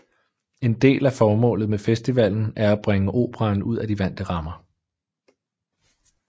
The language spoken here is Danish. En del af formålet med festivalen er at bringe operaen ud af de vante rammer